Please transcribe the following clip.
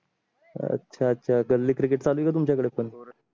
अच्छा अच्छा गल्ली cricket चालू आहे का तुमचा कडे पण